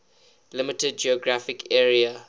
limited geographic area